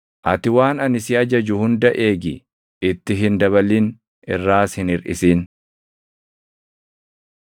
Ati waan ani si ajaju hunda eegi; itti hin dabalin; irraas hin hirʼisin.